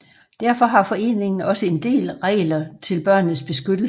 Derfor har foreningen også en del regler til børnenes beskyttelse